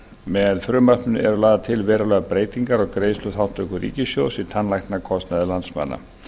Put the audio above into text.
með frumvarpinu eru lagðar til verulegar breytingar á greiðsluþátttöku ríkissjóðs í tannlæknakostnaði landsmanna